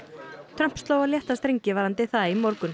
Trump sló á létta strengi varðandi það í morgun